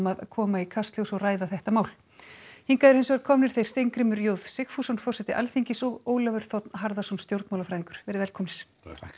að koma í Kastljós og ræða þetta mál hingað eru hinsvegar komnir þeir Steingrímur j Sigfússon forseti Alþingis og Ólafur þ Harðarson stjórnmálafræðingur velkomnir